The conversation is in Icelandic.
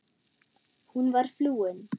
Hún var flúin.